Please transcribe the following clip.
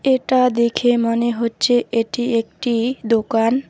এটা দেখে মনে হচ্ছে এটি একটি দোকান।